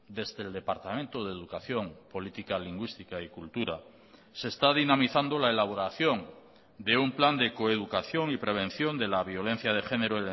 desde el departamento de educación política lingüística y cultura se está dinamizando la elaboración de un plan de coeducación y prevención de la violencia de género